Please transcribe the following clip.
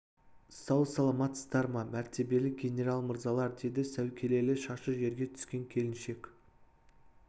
сау саламатсыздар ма мәртебелі генерал мырзалар деді сәукелелі шашы жерге түскен келіншек